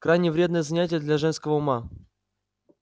крайне вредное занятие для женского ума